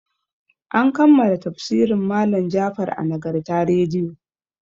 An kammala tafsirin malam Jafar a Nagarta rediyo.